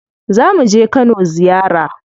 Zamu je Kano ziyara.